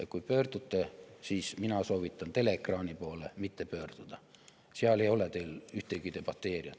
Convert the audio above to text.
Ja kui pöördute, siis mina soovitan teleekraani poole mitte pöörduda, seal ei ole teil ühtegi debateerijat.